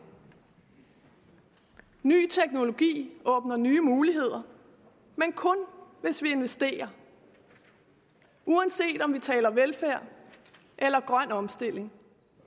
ny teknologi åbner nye muligheder men kun hvis vi investerer uanset om vi taler velfærd eller grøn omstilling